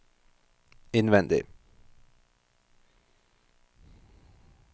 innvendig